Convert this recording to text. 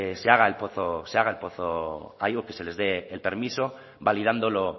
se haga el pozo se haga el pozo a ellos que se les dé el permiso validándolo